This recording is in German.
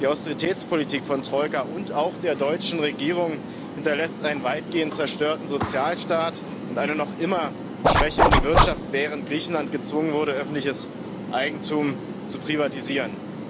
Die Austeritätspolitik von Troika und auch der deutschen Regierung hinterlässt einen weitgehend zerstörten Sozialstaat und eine noch immer schwächelnde Wirtschaft, während Griechenland gezwungen wurde, öffentliches Eigentum zu privatisieren.